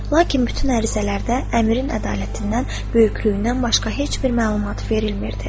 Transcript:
Lakin bütün ərizələrdə əmirin ədalətindən, böyüklüyündən başqa heç bir məlumat verilmirdi.